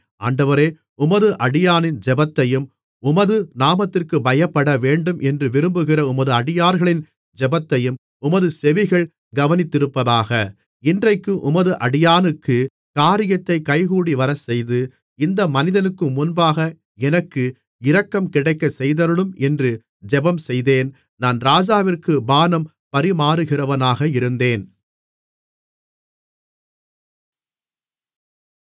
ஆண்டவரே உமது அடியானின் ஜெபத்தையும் உமது நாமத்திற்குப் பயப்படவேண்டும் என்று விரும்புகிற உமது அடியார்களின் ஜெபத்தையும் உமது செவிகள் கவனித்திருப்பதாக இன்றைக்கு உமது அடியானுக்குக் காரியத்தைக் கைகூடிவரச்செய்து இந்த மனிதனுக்கு முன்பாக எனக்கு இரக்கம் கிடைக்கச்செய்தருளும் என்று ஜெபம் செய்தேன் நான் ராஜாவிற்குப் பானம் பரிமாறுகிறவனாக இருந்தேன்